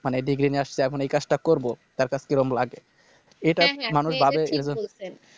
মানে Degree নিয়ে আসছি এখন এই কাজটা করবো তার কাছে কেমন লাগে এটা মানুষ ভাবে এজন্য